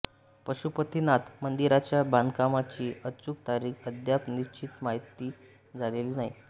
पशुपतीनाथ मंदिराच्या बांधकामाची अचूक तारीख अद्याप निश्चित माहीत झालेली नाही